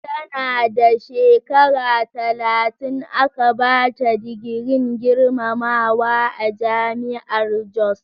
Tana da shekara talatin aka bata digirin girmamawa a Jami'ar Jos.